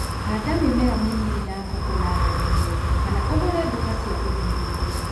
Hada mĩmere mĩnini ya koko natharĩinĩ kana ũgũre duka cia ũthuthuria